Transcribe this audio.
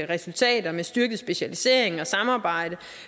resultater med styrket specialisering og samarbejde